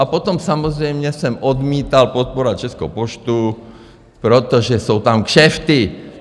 A potom samozřejmě jsem odmítal podporovat Českou poštu, protože jsou tam kšefty.